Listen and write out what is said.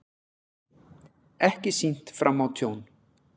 Ekki sýnt fram á tjón